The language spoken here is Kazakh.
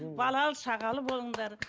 балалы шағалы болыңдар